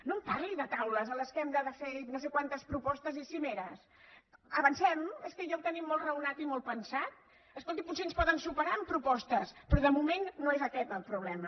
no em parli de taules en les quals hem de fer no sé quantes propostes i cimeres avancem és que ja ho tenim molt raonat i molt pensat escolti potser ens poden superar en propostes però de moment no és aquest el problema